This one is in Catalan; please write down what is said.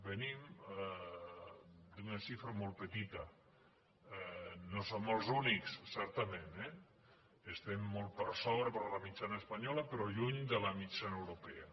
venim d’una xifra molt petita no som els únics certament eh estem molt per sobre de la mitjana espanyola però lluny de la mitjana europea